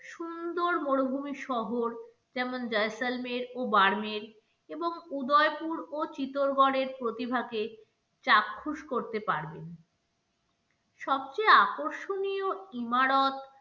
সুন্দর মরুভুমি শহর যেমন জয়সলমের ও বাড়মেড়, এবং উদয়পুর ও চিত্তরগড় এর প্রতিভা কে চাক্ষুষ করতে পারবেন সবচেয়ে আকর্ষণীয় ইমারত,